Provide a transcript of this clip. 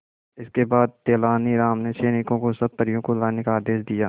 इसके बाद तेलानी राम ने सैनिकों को सब परियों को लाने का आदेश दिया